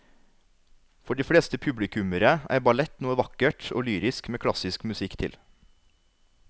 For de fleste publikummere er ballett noe vakkert og lyrisk med klassisk musikk til.